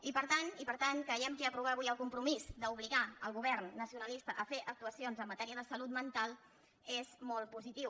i per tant creiem que aprovar avui el compromís d’obligar el govern nacionalista a fer actuacions en matèria de salut mental és molt positiu